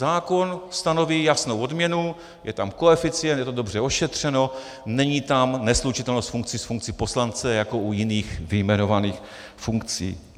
Zákon stanoví jasnou odměnu, je tam koeficient, je to dobře ošetřeno, není tam neslučitelnost funkcí s funkcí poslance jako u jiných vyjmenovaných funkcí.